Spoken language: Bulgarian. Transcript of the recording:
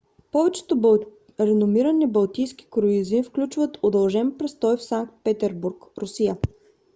повечето реномирани балтийски круизи включват удължен престой в санкт петербург русия